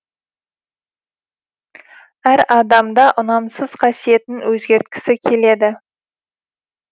әр адам да ұнамсыз қасиетін өзгерткісі келеді